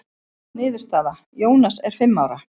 Niðurstaða: Jónas er fimm ára.